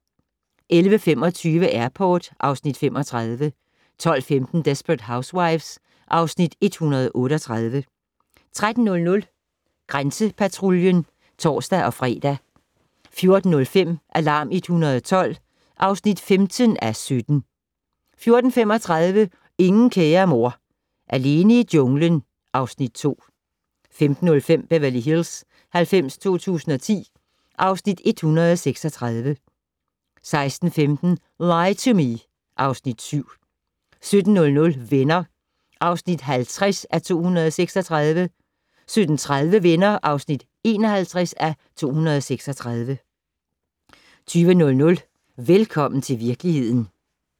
11:25: Airport (Afs. 35) 12:15: Desperate Housewives (Afs. 138) 13:00: Grænsepatruljen (tor-fre) 14:05: Alarm 112 (15:17) 14:35: Ingen kære mor - alene i junglen (Afs. 2) 15:05: Beverly Hills 90210 (Afs. 136) 16:15: Lie to Me (Afs. 7) 17:00: Venner (50:236) 17:30: Venner (51:236) 20:00: Velkommen til virkeligheden